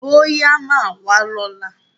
Bọ́yá máà wá lọ́la.